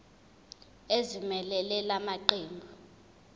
ezimelele la maqembu